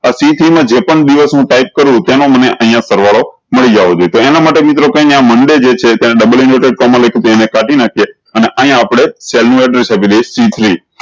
અ C three મા જે પણ દિવસ નું ટાયપ કરું તેનો મને અયીયા સરવાળો મળી જવો જોયીયે તો એના માટે મિત્રો કઈ નહી આ મંડે જે છે તેના ડબલ inverted કોમા લખ્યું એને કાઢી નાખ્યે અને અયીયા આપળે સી three